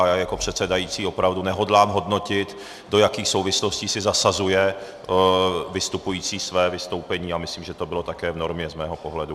A já jako předsedající opravdu nehodlám hodnotit, do jakých souvislostí si zasazuje vystupující své vystoupení, a myslím, že to bylo také v normě z mého pohledu.